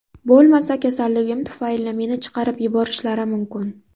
Bo‘lmasa kasalligim tufayli meni chiqarib yuborishlari mumkin.